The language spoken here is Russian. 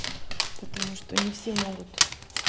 потому что не все могут